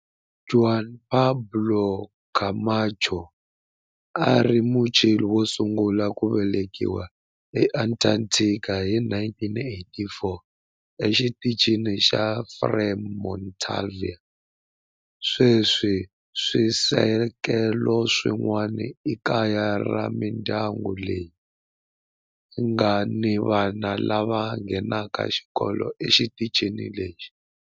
Juan Pablo Camacho a a ri Muchile wo sungula ku velekiwa eAntarctica hi 1984 eXitichini xa Frei Montalva. Sweswi swisekelo swin'wana i kaya ra mindyangu leyi nga ni vana lava nghenaka xikolo exitichini lexi.